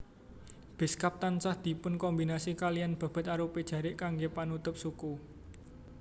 Beskap tansah dipunkombinasi kaliyan bebed arupi jarik kanggé panutup suku